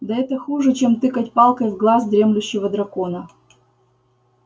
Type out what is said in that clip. да это хуже чем тыкать палкой в глаз дремлющего дракона